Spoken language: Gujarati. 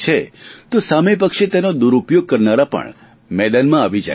તો સામે પક્ષે તેનો દુરુપયોગ કરનારા પણ મેદાનમાં આવી જાય છે